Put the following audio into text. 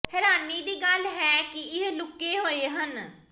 ਹੈਰਾਨੀ ਦੀ ਗੱਲ ਹੈ ਕਿ ਇਹ ਲੁਕੇ ਹੋਏ ਹਨ